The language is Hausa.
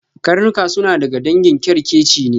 Karnuka suna daga dangin kyarkeci ne.